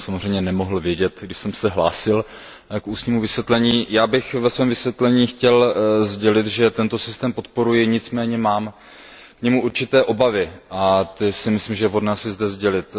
To jsem samozřejmě nemohl vědět, když jsem se hlásil k ústnímu vysvětlení. Já bych ve svém vysvětlení chtěl sdělit, že tento systém podporuji, nicméně mám u něj určité obavy a myslím si, že je vhodné je zde sdělit.